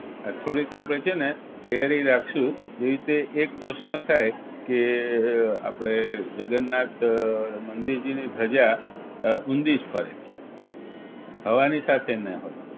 થોડીક આપણે છે ને તૈયારી રાખશું જે રીતે એક પ્રશ્ન થાય કે આપણે જગન્નાથ મંદિરજી ની ધજા ઊંઘી જ ફરે હવાની સાથે ના હોય